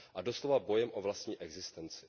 A doslova bojem o vlastní existenci.